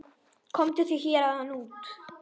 Komdu þér héðan út.